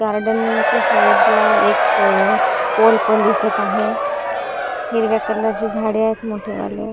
गार्डनच्या साईडला एक पोल पण दिसत आहे हिरव्या कलरची झाडे आहेत मोठे वाले.